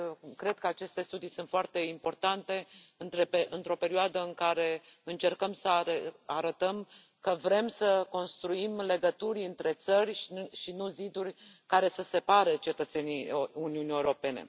Cred că aceste studii sunt foarte importante, într o perioadă în care încercăm să arătăm că vrem să construim legături între țări, și nu ziduri care să separe cetățenii Uniunii Europene.